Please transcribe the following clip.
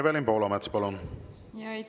Evelin Poolamets, palun!